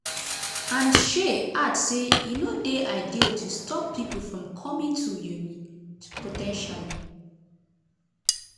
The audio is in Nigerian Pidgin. and shay add say: "e no dey ideal to stop pipo from coming [to] uni po ten tially.